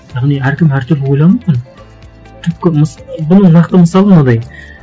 яғни әркім әртүрлі ойлану мүмкін түпкі бұның нақты мысалы мынадай